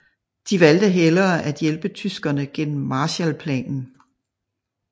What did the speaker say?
De valgte hellere at hjælpe tyskerne gennem Marshallplanen